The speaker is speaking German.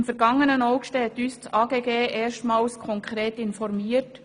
Im ergangenen August hat uns das AGG erstmals konkret orientiert.